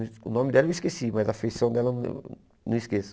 O nome dela eu esqueci, mas a feição dela eu não não esqueço.